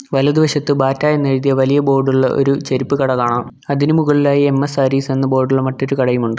വലതുവശത്ത് ബാറ്റാ എന്നെഴുതിയ വലിയ ബോർഡുള്ള ഒരു ചെരുപ്പ് കട കാണാം അതിന് മുകളിലായി എം_എസ് സാരീസ് എന്ന് ബോർഡുള്ള മറ്റൊരു കടയും ഉണ്ട്.